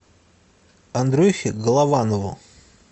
андрюхе голованову